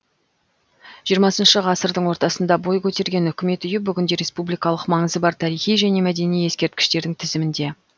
жиырмасыншы ғасырдың ортасында бой көтерген үкімет үйі бүгінде республикалық маңызы бар тарихи және мәдени ескерткіштердің тізімінде